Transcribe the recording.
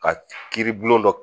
Ka kiiri bulon dɔ